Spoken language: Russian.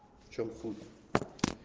в чём суть